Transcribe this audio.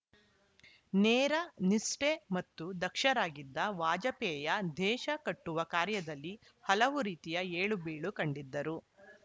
ನೇರ ನಿಷ್ಠೆ ಮತ್ತು ದಕ್ಷರಾಗಿದ್ದ ವಾಜಪೇಯ ದೇಶ ಕಟ್ಟುವ ಕಾರ್ಯದಲ್ಲಿ ಹಲವು ರೀತಿಯ ಏಳು ಬೀಳು ಕಂಡಿದ್ದರು